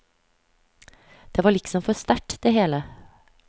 Det var liksom for sterkt det hele.